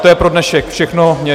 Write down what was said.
To je pro dnešek všechno.